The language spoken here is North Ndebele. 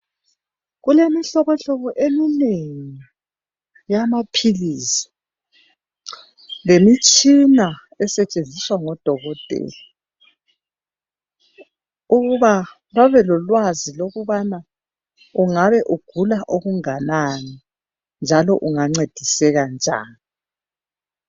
Kulemihlobohlobo eminengi yamaphilisi lemitshina esetshenziswa ngodokotela ukuba babe lolwazi lokubana ungabe ugula okunganani, njalo ungancediseka njani.